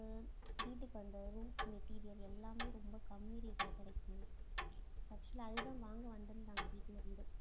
ஆஹ் வீட்டுக்கு அந்த roof material எல்லாமே ரொம்ப கம்மி rate ல கிடைக்கும் actual ஆ அதுதான் வாங்க வந்திருந்தாங்க வீட்டுல இருந்து.